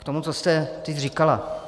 K tomu, co jste teď říkala.